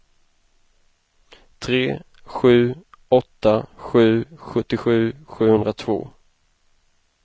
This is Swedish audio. tre sju åtta sju sjuttiosju sjuhundratvå